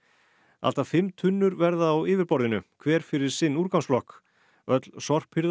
allt að fimm tunnur verða á yfirborðinu hver fyrir sinn úrgangsflokk öll sorphirða